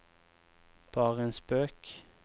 bare en spøk